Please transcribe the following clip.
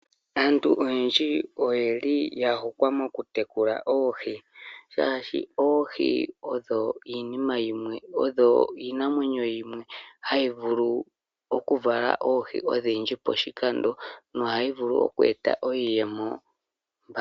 Aantu oyendji oyeli yahokwa moku tekula oohi, shaashi oohi odho iinamwenyo yimwe hayi vulu okuvala oohi odhindji poshikando, nohadhi vulu oku eta iiyemo.